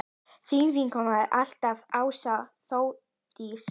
Þín vinkona alltaf, Ása Þórdís.